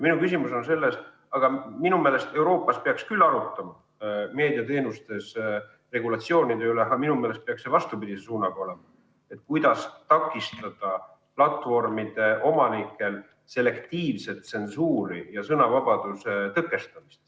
Minu küsimus on selles, et jah, Euroopas peaks arutama meediateenuste regulatsiooni üle, aga minu meelest peaks see olema vastupidise suunaga: kuidas takistada platvormide omanike selektiivset tsensuuri ja sõnavabaduse tõkestamist.